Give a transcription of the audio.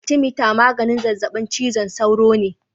Atimeter magani zazzabin cizon sauro ne.